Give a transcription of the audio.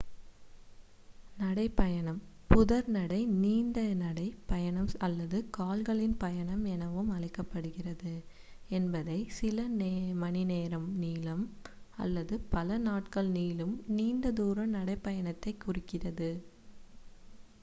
நடை பயணம் புதர் நடை நீண்ட நடை பயணம் அல்லது கால்களின் பயணம் எனவும் அழைக்கப்படுகிறது என்பது சில மணிநேரம் நீளும் அல்லது பல நாட்கள் நீளும் நீண்ட தூர நடைபயணத்தை குறிக்கிறது